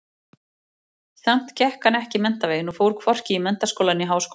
Samt gekk hann ekki menntaveginn og fór hvorki í menntaskóla né háskóla.